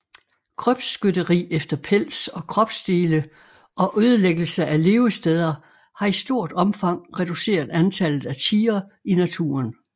Krybskytteri efter pels og kropsdele og ødelæggelse af levesteder har i stort omfang reduceret antallet af tigre i naturen